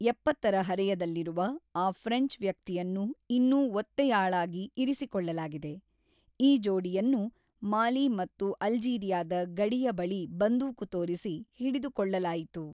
ಎಪ್ಪತ್ತರ ಹರೆಯದಲ್ಲಿರುವ ಆ ಫ್ರೆಂಚ್ ವ್ಯಕ್ತಿಯನ್ನು ಇನ್ನೂ ಒತ್ತೆಯಾಳಾಗಿ ಇರಿಸಿಕೊಳ್ಳಲಾಗಿದೆ; ಈ ಜೋಡಿಯನ್ನು ಮಾಲಿ ಮತ್ತು ಅಲ್ಜೀರಿಯಾದ ಗಡಿಯ ಬಳಿ ಬಂದೂಕು ತೋರಿಸಿ ಹಿಡಿದುಕೊಳ್ಳಲಾಯಿತು.